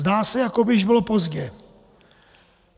Zdá se, jako by již bylo pozdě.